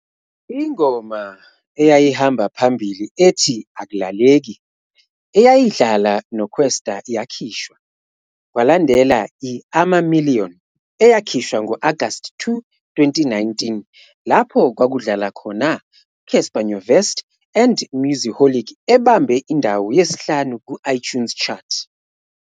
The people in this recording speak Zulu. Ingoma eyayihamba phambili ethi "Ak'laleki" eyayidlala noKwesta yakhishwa, kwalandela i-"Ama Million", eyakhishwa ngo-Agasti 2, 2019, lapho kwakudlala khona uCassper Nyovest and Mosiholiq ebambe indawo yesi-5 ku-iTunes Chart.